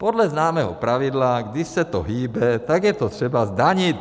Podle známého pravidla, když se to hýbe, tak je to třeba zdanit.